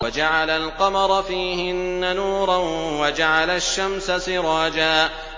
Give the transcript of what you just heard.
وَجَعَلَ الْقَمَرَ فِيهِنَّ نُورًا وَجَعَلَ الشَّمْسَ سِرَاجًا